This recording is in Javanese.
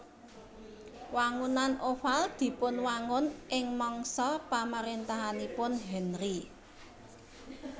Wangunan Oval dipunwangun ing mangsa pamaréntahanipun Henri